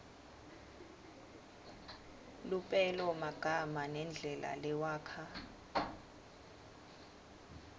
lupelomagama nendlela lewakha